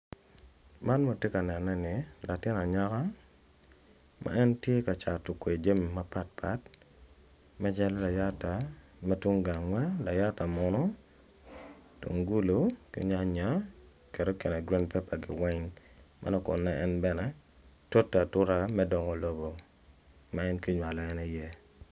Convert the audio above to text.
Man ma watye ka neno neni obedo latin anyaka ma en tye ka cato jami mapatpat macalo layata layata muno mutungulu ki nyanya